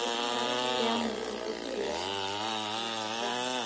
Stjáni hljóp í einum spretti upp á planið.